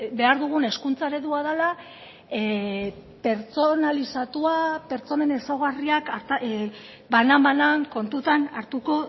behar dugun hezkuntza eredua dela pertsonalizatua pertsonen ezaugarriak banan banan kontutan hartuko